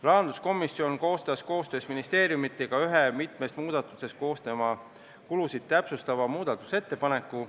Rahanduskomisjon koostas koostöös ministeeriumidega ühe mitmest muudatusest koosneva kulusid täpsustava muudatusettepaneku.